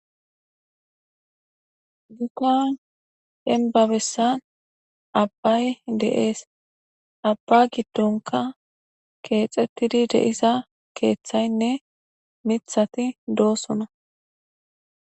dukan henbabessan abbay de7ees abba giddonka keexxettidi deisa keeththaynne mithati doosona